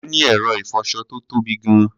A ní ẹ̀rọ ìfọṣọ tó tóbi gan-an.